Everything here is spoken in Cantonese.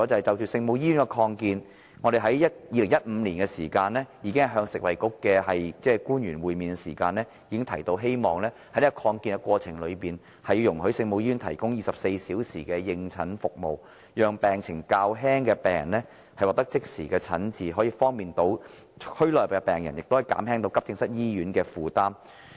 就聖母醫院的擴建，我們在2015年與食物及衞生局的官員會面時已提出，希望在擴建過程中使聖母醫院能夠提供24小時的應診服務，讓病情較輕的病人獲得即時診治，以方便區內病人，同時也減輕醫院急症室的負擔。